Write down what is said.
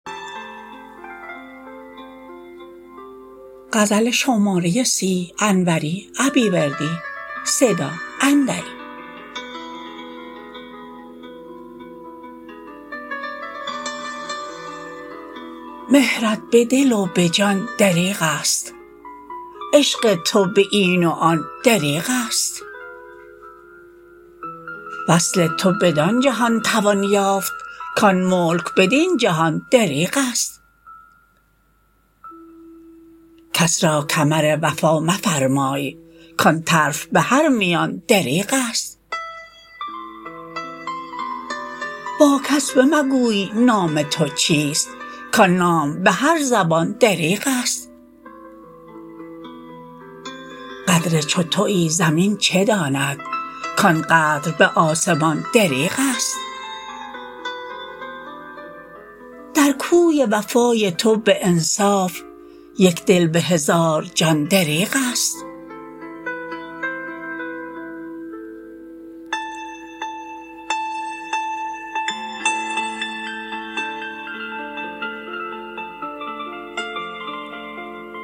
مهرت به دل و به جان دریغست عشق تو به این و آن دریغست وصل تو بدان جهان توان یافت کان ملک بدین جهان دریغست کس را کمر وفا مفرمای کان طرف بهر میان دریغست با کس به مگوی نام تو چیست کان نام به هر زبان دریغست قدر چو تویی زمین چه داند کان قدر به آسمان دریغست در کوی وفای تو به انصاف یک دل به هزار جان دریغست